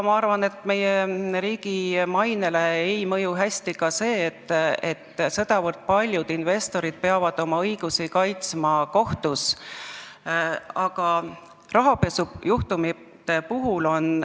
Ma arvan, et meie riigi mainele ei mõju hästi ka see, et sedavõrd paljud investorid peavad oma õigusi kohtus kaitsma.